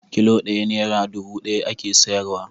Kilo ɗaya nera dubu ɗaya ake sayarwa.